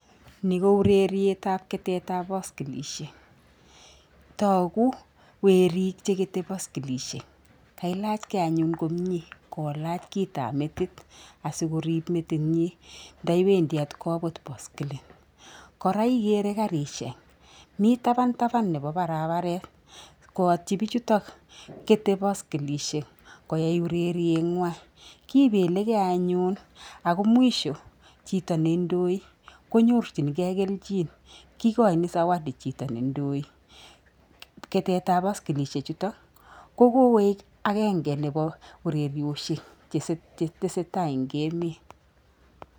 Ni ko urerietap keteetap poskilishek. Togu werik che kete poskilishek. Kailachge anyun komie, kolach kitap metit asikorib metinyi ndawendi atkoput poskilit. Kora ikere karishek, mi tapantapan nebo barabaret, koyatyi bichutok kete poskilishek koyai urerienywa. Kibelekei anyun ako mwisho chito ne indoi konyorjingei kelchin. Kikochin zawadi chito ne indoi. Keteetap poskilishechutok, ko kokoek akenge nebo urerioshek che tesetai eng emeet.